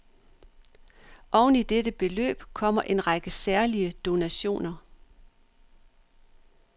Oveni dette beløb kommer en række særlige donationer.